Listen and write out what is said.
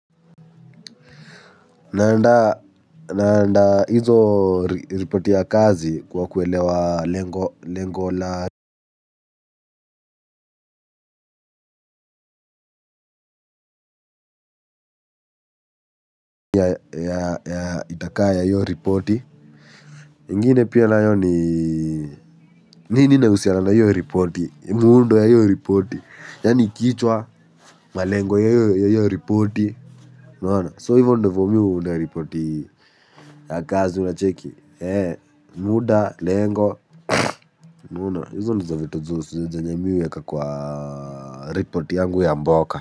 Naanda hizo ripoti ya kazi kwa kuwelewa lengo la itakaya yu ripoti. Ingine pia nayo ni nini inausiana na iyo ripoti. Muundo ya iyo ripoti. Yani kichwa malengo ya iyo ripoti. So ivo ndivo mi huunda ripoti ya kazi unacheki. Muda, lengo unaona hizo ndizo vitu zenye mi huweka kwa ripoti yangu ya mboka.